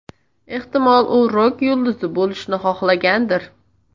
Ehtimol, u rok yulduzi bo‘lishni xohlagandir?